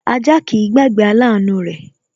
Ajá kìí gbàgbé aláàánú rẹ̀